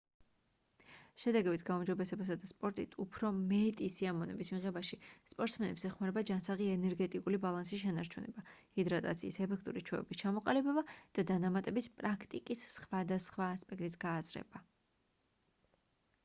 შედეგების გაუმჯობესებასა და სპორტით უფრო მეტი სიამოვნების მიღებაში სპორტსმენებს ეხმარება ჯანსაღი ენერგეტიკული ბალანსის შენარჩუნება ჰიდრატაციის ეფექტური ჩვევების ჩამოყალიბება და დანამატების პრაქტიკის სხვადასხვა ასპექტის გააზრება